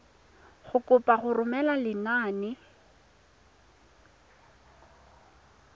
go kopa go romela lenane